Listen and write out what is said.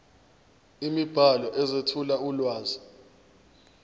imibhalo ezethula ulwazi